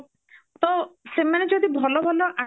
ତ ସେମାନେ ଯଦି ଭଲ ଭଲ